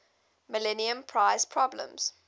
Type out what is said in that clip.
millennium prize problems